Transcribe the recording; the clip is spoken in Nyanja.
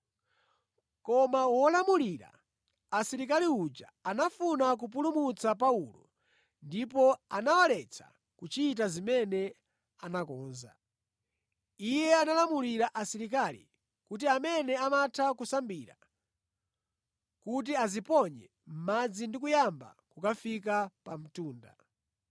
Koma wolamulira asilikali uja anafuna kupulumutsa Paulo ndipo anawaletsa kuchita zimene anakonza. Iye analamulira asilikali kuti amene amatha kusambira kuti adziponye mʼmadzi ndi kuyamba kukafika pa mtunda.